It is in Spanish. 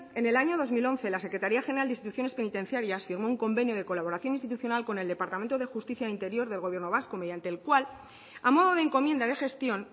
en el año dos mil once la secretaría general de instituciones penitenciarias firmó un convenio de colaboración institucional con el departamento de justicia e interior del gobierno vasco mediante el cual a modo de encomienda de gestión